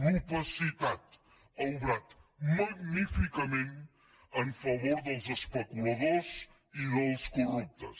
l’opacitat ha obrat magníficament a favor dels especuladors i dels corruptes